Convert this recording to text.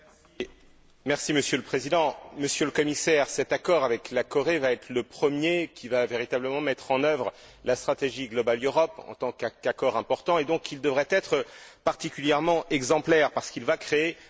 Monsieur le Président, Monsieur le Commissaire, cet accord avec la Corée va être le premier qui va véritablement mettre en œuvre la stratégie en tant qu'accord important, et il devrait donc être particulièrement exemplaire parce qu'il va créer un précédent.